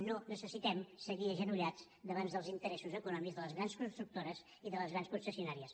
no necessitem seguir agenollats davant dels interessos econòmics de les grans constructores i de les grans concessionàries